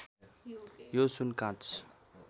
यो सुन काँच